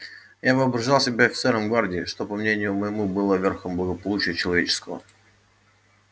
я воображал себя офицером гвардии что по мнению моему было верхом благополучия человеческого